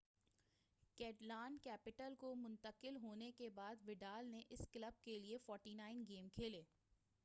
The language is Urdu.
کیٹالن-کیپٹل کو منتقل ہونے کے بعد وڈال نے اس کلب کے لئے 49 گیم کھیلے